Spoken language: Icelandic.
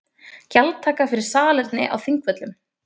Gjaldtaka fyrir salerni á Þingvöllum